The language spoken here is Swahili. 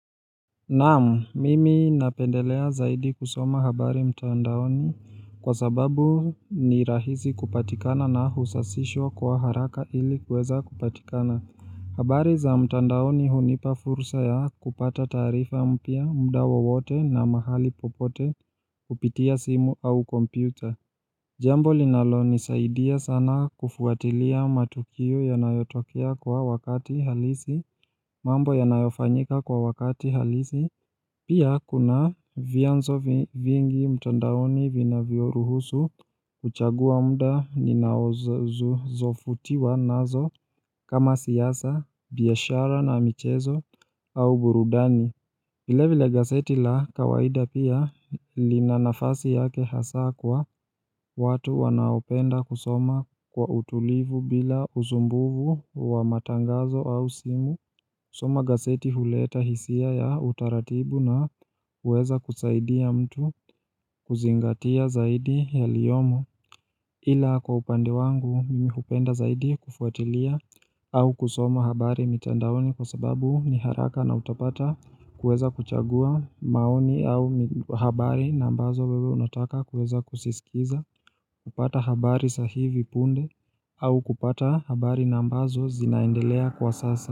Naam, mimi napendelea zaidi kusoma habari mtandaoni kwa sababu ni rahisi kupatikana na husasishwa kwa haraka ili kuweza kupatikana. Habari za mtandaoni hunipa fursa ya kupata taarifa mpya muda wowote na mahali popote kupitia simu au kompyuta. Jambo linalo nisaidia sana kufuatilia matukio yanayotokea kwa wakati halisi mambo yanayofanyika kwa wakati halisi Pia kuna vyanzo vingi mtandaoni vinavyo ruhusu kuchagua muda ninazovutiwa nazo kama siasa, biashara na michezo au burudani. Vilevile gazeti la kawaida pia lina nafasi yake hasa kwa watu wanaopenda kusoma kwa utulivu bila usumbufu wa matangazo au simu kusoma gazeti huleta hisia ya utaratibu na huweza kusaidia mtu kuzingatia zaidi yaliyomo Ila kwa upande wangu mimi hupenda zaidi kufuatilia au kusoma habari mitandaoni kwa sababu ni haraka na utapata kuweza kuchagua maoni au habari ambazo wewe unataka kuweza kuziskiza kupata habari za hivi punde au kupata habari ambazo zinaendelea kwa sasa.